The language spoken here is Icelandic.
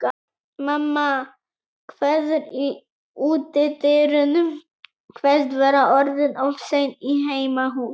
Mamma kveður í útidyrunum, kveðst vera orðin of sein í heimahús.